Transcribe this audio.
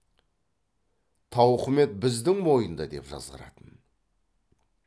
тауқымет біздің мойында деп жазғыратын